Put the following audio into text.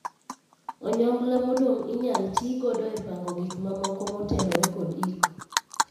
Onyongla modong inyal tii godo e pango gik ma moko motenore kod iko.